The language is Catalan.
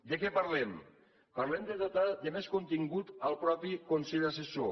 de què parlem parlem de dotar de més contingut el mateix consell assessor